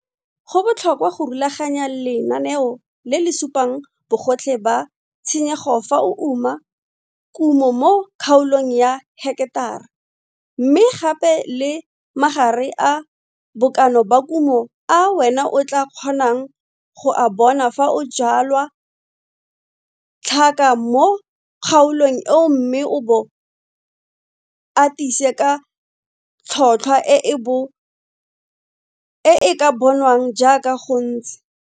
Go botlhokwa go rulaganya lenaneo le le supang bogotlhe ba tshenyego fa o uma kumo mo kgaolong ya heketara mme gape le magare a bokana ba kumo a wena o tlaa kgonang go a bona fa o jwala tlhaka mo kgaolong eo mme o bo atise ka tlholthwa e e bo e e ka bonwang jaaka go ntse.